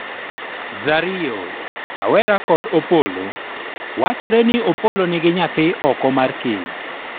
Zario:awera kod Opolo:Wachore ni Opolo nigi nyathi oko mar keny